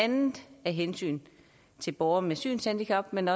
andet af hensyn til borgere med synshandicap men